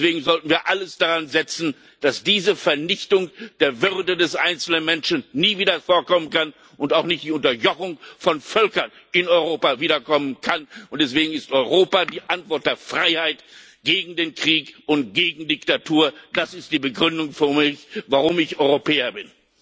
Deswegen sollten wir alles daransetzen, dass diese Vernichtung der Würde des einzelnen Menschen nie wieder vorkommen kann und auch die Unterjochung von Völkern in Europa nicht wiederkommen kann. Deswegen ist Europa die Antwort der Freiheit gegen den Krieg und gegen Diktatur! Das ist die Begründung für mich, warum ich Europäer bin.